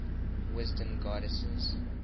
wisdom goddesses